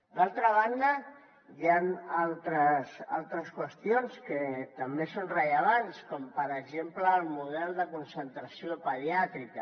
d’altra banda hi han altres qüestions que també són rellevants com per exemple el model de concentració pediàtrica